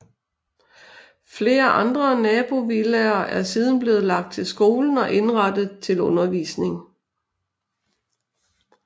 Flere andre nabovillaer er siden blevet lagt til skolen og indrettet til undervisning